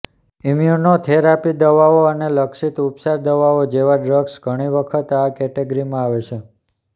immunotherapy દવાઓ અને લક્ષિત ઉપચાર દવાઓ જેવા ડ્રગ્સ ઘણી વખત આ કેટેગરીમાં આવે છે